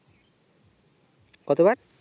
কতবার